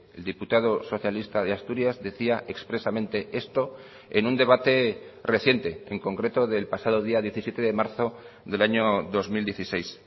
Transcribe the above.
el diputado socialista de asturias decía expresamente esto en un debate reciente en concreto del pasado día diecisiete de marzo del año dos mil dieciséis